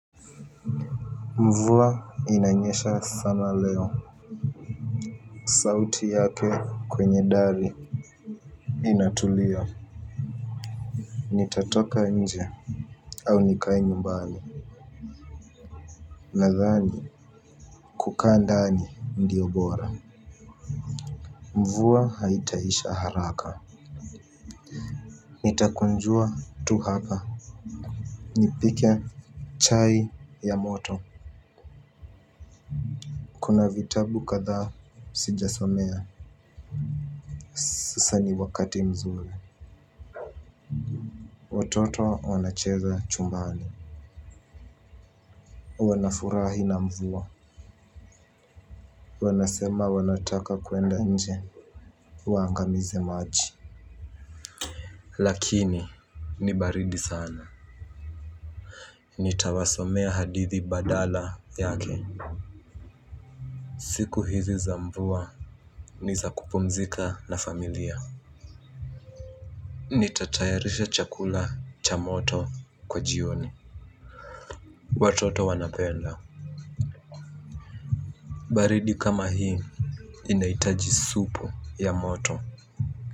Mvua inanyesha sana leo. Sauti yake kwenye dari. Inatulia. Nitatoka nje au nikae nyumbani. Nadhani kukaa ndani ndiyo bora. Mvua haitaisha haraka. Nitakunjua tu hapa. Nipike chai ya moto. Kuna vitabu kadha sijasomea sasa ni wakati mzuri watoto wancheza chumbani. Wanafurahi na mvua wanasema wanataka kuenda nje waangamize maji lakini ni baridi sana nitawasomea hadithi badala yake siku hizi za mvua nizakupumzika na familia nitatayarisha chakula cha moto kwa jioni watoto wanapenda baridi kama hii. Nahitaji supu ya moto.